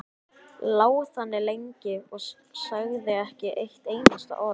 Lá þannig lengi og sagði ekki eitt einasta orð.